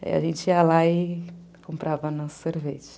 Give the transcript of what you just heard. Aí a gente ia lá e comprava nosso sorvete.